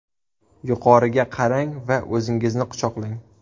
Yuqoriga qarang va o‘zingizni quchoqlang.